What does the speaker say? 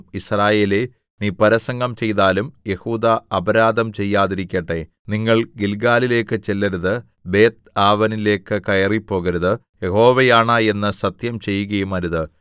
യിസ്രായേലേ നീ പരസംഗം ചെയ്താലും യെഹൂദാ അപരാധം ചെയ്യാതിരിക്കട്ടെ നിങ്ങൾ ഗില്ഗാലിലേക്ക് ചെല്ലരുത് ബേത്ത്ആവെനിലേക്ക് കയറിപ്പോകരുത് യഹോവയാണ എന്ന് സത്യം ചെയ്യുകയുമരുത്